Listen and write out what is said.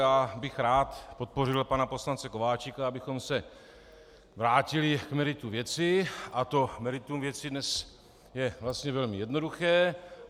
Já bych rád podpořil pana poslance Kováčika, abychom se vrátili k meritu věci, a to meritum věci dnes je vlastně velmi jednoduché.